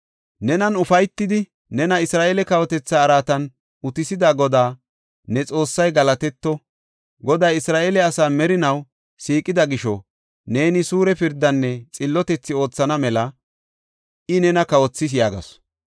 Nenan ufaytidi, nena Isra7eele kawotetha araatan utisida Goday ne Xoossay galatetto! Goday Isra7eele asa merinaw siiqida gisho neeni suure pirdanne xillotethi oothana mela I nena kawothis” yaagasu.